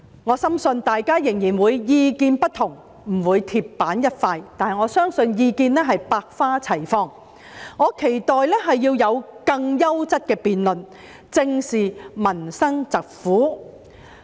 我深信大家仍然會有不同意見，不會鐵板一塊，但我相信意見是百花齊放的，我期待會有更優質的辯論，大家能正視民生疾苦。